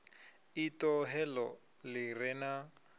iṱo heḽo ḽi re na